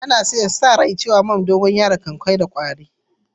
An sa rai cewa man dogoyaro kan kore kwari.